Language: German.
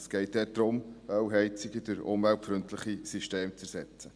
Es geht dort darum, Ölheizungen durch umweltfreundliche Systeme zu ersetzen.